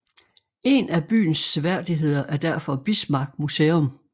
En af byens seværdigheder er derfor Bismarck Museum